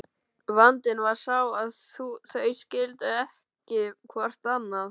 Vandinn var sá að þau skildu ekki hvort annað.